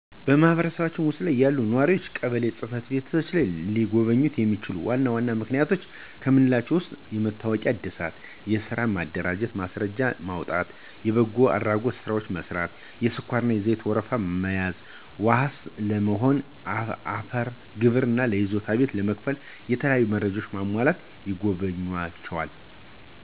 በማህበረሰብዎ ውስጥ ያሉ ነዋሪዎች ቀበሌ ጽ/ቤትን ሊጎበኙ የሚችሉባቸው ዋና ዋና ምክንያቶች ከምንላቸው ውስጥ የመታወቂያ ዕድሳት፣ ስራ ለመደራጀት ማስረጃዎችን ለማውጣት፣ የበጎ አድራጎት ስራዎችን ለመስራት፣ የስኳርና ዘይት ወረፋ ለመያዝ፣ ዋስ ለመሆን፣ የአፈር ግብር ለይዞታ ቤት ለመክፈል እና የተለያዩ መረጃዎች ለማሟላት ይጎበኟቸዋል።